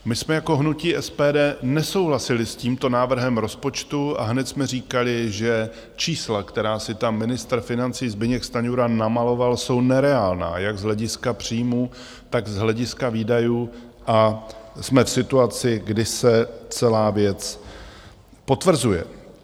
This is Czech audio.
My jsme jako hnutí SPD nesouhlasili s tímto návrhem rozpočtu a hned jsme říkali, že čísla, která si tam ministr financí Zbyněk Stanjura namaloval, jsou nereálná jak z hlediska příjmů, tak z hlediska výdajů, a jsme v situaci, kdy se celá věc potvrzuje.